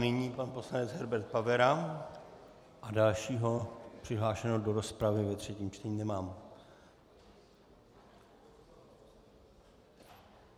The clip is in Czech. Nyní pan poslanec Herbert Pavera a dalšího přihlášeného do rozpravy ve třetím čtení nemám.